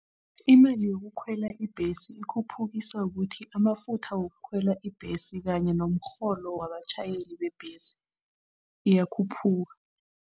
Imali yokukhwela ibhesi ikhuphukiswa kuthi amafutha wokukhwela ibhesi kanye nomrholo wabatjhayeli bebhesi iyakhuphuka.